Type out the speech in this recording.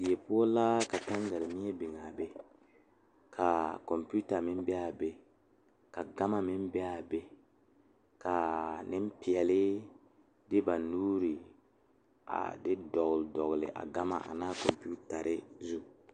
Diwogi wogi kaŋ poɔ la ka dɔɔba ne pɔgeba bebe ka bamine taa konpitare ka bamine meŋ zeŋ ka bamine meŋ are ka bamine su kpare sɔglɔ kaa ba tabol nazu naŋ zeŋ koo e tabol pelaa.